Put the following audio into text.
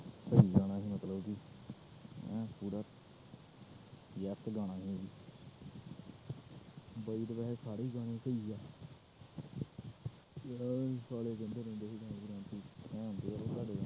ਮਤਲਬ ਕਿ ਐਨ ਪੂਰਾ ਬਾਈ ਦੇ ਵੈਸੇ ਸਾਰੇ ਹੀ ਗਾਣੇ ਸਹੀ ਹੈ